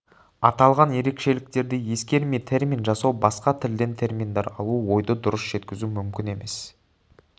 аталған ерекшеліктерді ескермей термин жасау басқа тілден терминдер алу ойды дұрыс жеткізу мүмкін емес